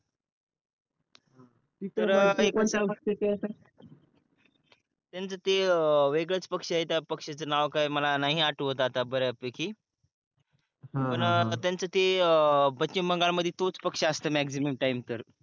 त्यांचं ते वेगळाच पक्ष आहे ते त्या पक्षाचा नाव काय मला नाही आठवत आता बऱ्यापैकी पण त्यांचं ते पश्चिम बंगाल मध्ये तोच पक्ष मॅक्सिमम टाइम तर